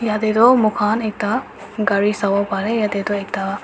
Tate tu moikhan ekta gare sabo pare ase yate tu ekta.